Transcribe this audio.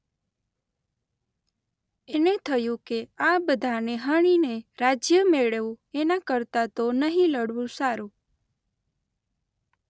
એને થયું કે આ બધાને હણીને રાજ્ય મેળવવું એના કરતાં તો નહી લડવું સારું.